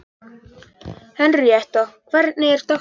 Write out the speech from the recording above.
Henríetta, hvernig er dagskráin?